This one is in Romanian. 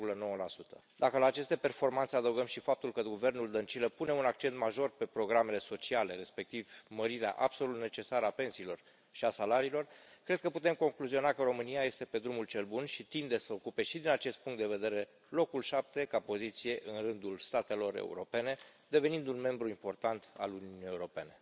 3,9 Dacă la aceste performanțe adăugăm și faptul că guvernul Dăncilă pune un accent major pe programele sociale, respectiv mărirea absolut necesară a pensiilor și a salariilor, cred că putem concluziona că România este pe drumul cel bun și tinde să ocupe și din acest punct de vedere locul șapte ca poziție în rândul statelor europene, devenind un membru important al Uniunii Europene.